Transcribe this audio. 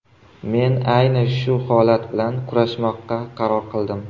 Men ayni shu holat bilan kurashmoqqa qaror qildim.